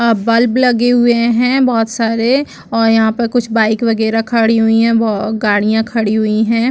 और बल्ब लगे हुए हैं बहुत सारे और यहाँ पर कुछ बाइक वगैरह खड़ी हुई है ब गाड़ियां खड़ी हुई है।